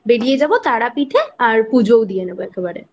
বেরিয়ে যাবো তারাপীঠ এ আর পুজোও দিয়ে দেব একেবারে।